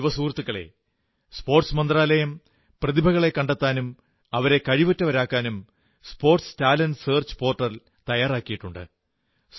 യുവസഹൃത്തുക്കളേ കായിക മന്ത്രാലയം പ്രതിഭകളെ കണ്ടെത്താനും അവരെ കഴിവുറ്റവരാക്കാനും സ്പോർട്സ് ടാലന്റ് സർച്ച് പോർട്ടൽ തയ്യാറാക്കിയിട്ടുണ്ട്